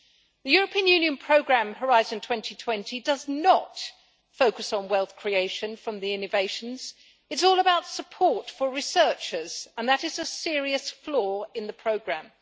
The European Union programme Horizon 2020 does not focus on wealth creation from innovation it is all about support for researchers, and that is a serious flaw in the programme.